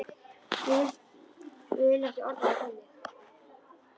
Ég vil ekki orða það þannig.